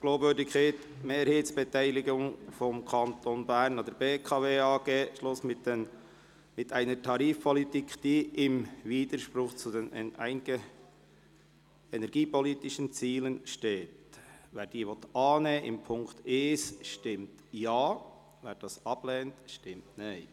«Glaubwürdigkeit Mehrheitsbeteiligung des Kantons Bern an der BKW AG: Schluss mit einer Tarifpolitik, die im Widerspruch zu den energiepolitischen Zielen steht!» den Punkt 1 annehmen will, stimmt Ja, wer dies ablehnt, stimmt Nein.